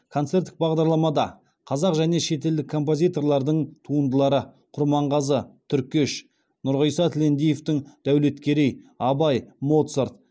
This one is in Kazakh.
концерттік бағдарламада қазақ және шетелдік композиторлардың туындылары құрманғазы түркеш нұрғиса тілендиевтің дәулеткерей абай моцарт